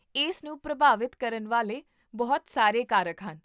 ਇਸ ਨੂੰ ਪ੍ਰਭਾਵਿਤ ਕਰਨ ਵਾਲੇ ਬਹੁਤ ਸਾਰੇ ਕਾਰਕ ਹਨ